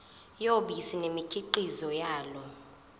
yobisi nemikhiqizo yalo